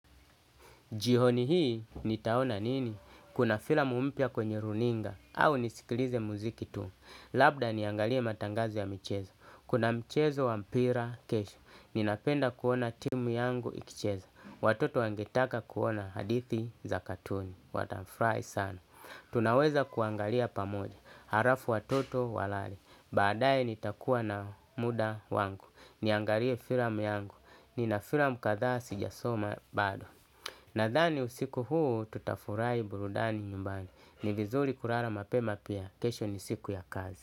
Jihoni hii ni taona nini? Kuna filamu mpya kwenye runinga au nisikilize muziki tu. Labda niangalie matangazo ya michezo. Kuna michezo wa mpira kesho. Ninapenda kuona timu yangu ikicheza. Watoto wangetaka kuona hadithi za katuni. Wata frahi sana. Tunaweza kuangalia pamoja, harafu watoto walale. Baadaye nitakuwa na muda wangu. Niangalie firam yangu, nina firam kadhaa sijasoma bado. Nadhani usiku huu tutafurahi burudani nyumbani. Ni vizuri kurara mapema pia, kesho ni siku ya kazi.